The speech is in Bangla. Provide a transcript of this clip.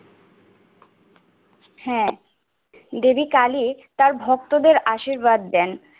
হ্যা, দেবী কালী তার ভক্তদের আশীর্বাদ দেন।